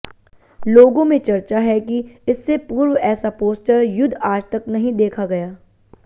लोगों में चर्चा है कि इससे पूर्व ऐसा पोस्टर युद्ध आज तक नहीं देखा गया